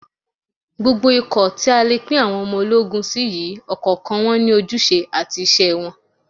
Gbogbo ikọ̀ tí a lè pín àwọn ológun sí yìí ni ọ̀kọ̀ọ̀kan wọn ní ojúṣe àti iṣẹ́ wọn